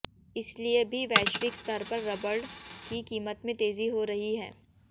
इसलिए भी वैश्विक स्तर पर रबर की कीमत में तेजी हो रही है